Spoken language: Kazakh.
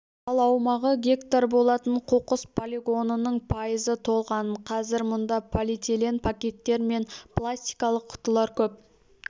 ал аумағы гектар болатын қоқыс полигонының пайызы толған қазір мұнда полиэтилен пакеттер мен пластикалық құтылар көп